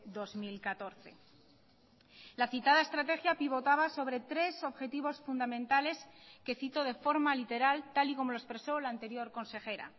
dos mil catorce la citada estrategia pivotaba sobre tres objetivos fundamentales que cito de forma literal tal y como lo expreso la anterior consejera